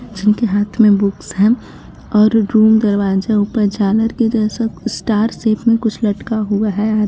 जिनके हाथ में बुक्स हैं और रूम दरवाजा ऊपर झालर के जैसा कुछ स्टार शेप में कुछ लटका हुआ हैं.